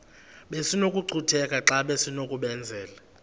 besinokucutheka xa besinokubenzela